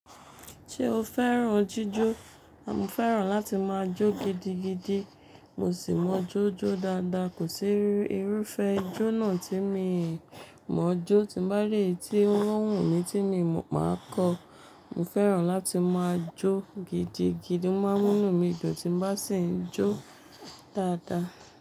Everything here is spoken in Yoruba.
Ṣé o fẹ́ràn jíjó? Mo fẹ́ràn láti máa jó gidigidi. Mo sì mọ jó jó dáadáa. Kò sí irúfẹ́ jó náà tí mi mọ jó. Tí n bá rí eyi tí ó wù mí tí mi mo, máa kọ. Mo fẹ́ràn láti máa jó gidigidi. Mo máa ń múnú mi dùn tí n bá sì ń jó dáadáa.